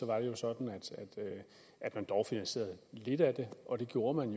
var det jo sådan at man dog finansierede lidt af det og det gjorde man